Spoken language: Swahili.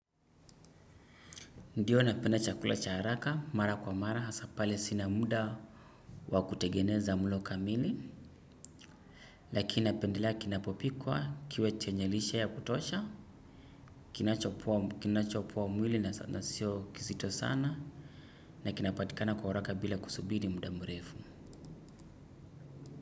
Ndiyo napenda chakula cha haraka mara kwa mara hasa pale sina muda wakutegeneza mlo kamili. Lakini napendelea kinapopikwa kiwe chenye lishe ya kutosha kinacho kinachopoa mwili na sio kizito sana, na kinapatikana kwa haraka bila kusubiri muda mrefu.